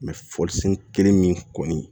folisen kelen min kɔni